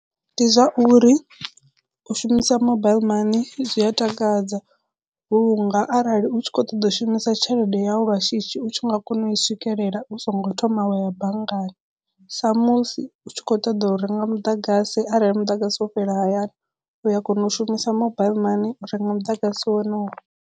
Ndi zwa uri u shumisa mobile mani zwi a takadza vhunga arali u tshi kho ṱoḓa u shumisa tshelede yau lwa shishi u tshi nga kona u i swikelela u songo thoma wa ya banngani sa musi u tshi kho ṱoḓa u renga muḓagasi arali muḓagasi wo fhela hayani u ya kona u shumisa mobile mani u renga muḓagasi wonowo.